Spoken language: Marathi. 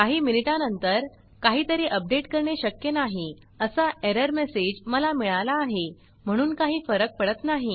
काही मिनिटांनंतर काहीतरी अपडेट करणे शक्य नाही असा errorएरर मेसेज मला मिळाला आहे म्हणून काही फरक पडत नाही